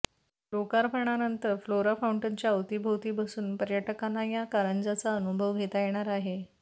लोकार्पणानंतर Flora फाऊंटनच्या अवतीभवती बसून पर्यटकांना या कारंजाचा अनुभव घेता येणार आहे